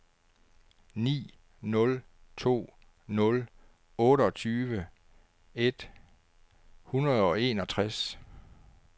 ni nul to nul otteogtyve et hundrede og enogtres